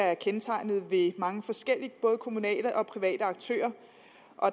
er kendetegnet ved mange forskellige både kommunale og private aktører